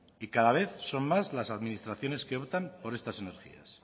y cada vez son más las administraciones que optan por estas energías